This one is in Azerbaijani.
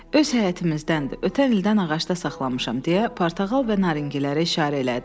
Öz həyətimizdəndir, ötən ildən ağacda saxlamışam deyə portağal və narinigilərə işarə elədi.